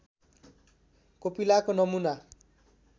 कोपिलाको नमुना